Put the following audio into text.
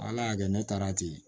Ala y'a kɛ ne taara ten